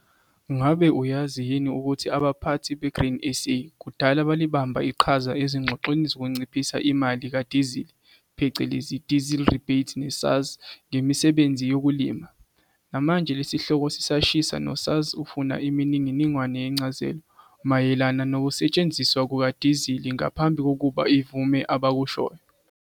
Ngabe uyazi yini ukuthi abaphathi beGrain SA kudala balibamba iqhaza ezingxoxweni zokunciphisa imali kadizili phecelezi diesel rebate ne-SARS ngemisebenzini yokulima? Namanje le sihloko sisashisa no-SARS ufuna imininingwane yencazelo mayelana nokusetshenziswa kukadizili ngaphambi kokuba ikuvume abakushoyo.